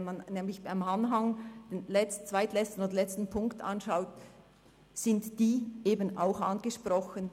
Wenn man nämlich im Anhang den zweitletzten und letzten Punkt anschaut, sind diese eben auch angesprochen.